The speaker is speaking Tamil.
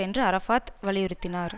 என்று அரஃபாத் வலியுறுத்தினார்